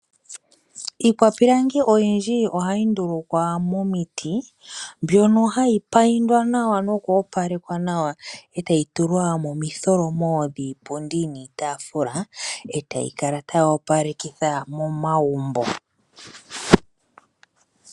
Iikwapilangi oyindji ohayi ndulukwa momiti mbyono hayi payindwa nawa, noku opalekwa nawa etayi tulwa momitholomo dhiipundi niitafula etayikala tayi opalekitha momagumbo.